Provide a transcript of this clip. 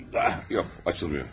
Yox, açılmır.